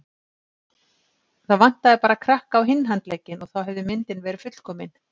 Það vantaði bara krakka á hinn handlegginn og þá hefði myndin verið fullkomin.